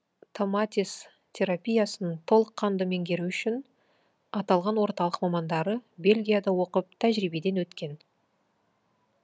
томатис терапиясын толыққанды меңгеру үшін аталған орталық мамандары бельгияда оқып тәжірибеден өткен